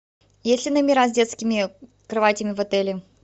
есть ли номера с детскими кроватями в отеле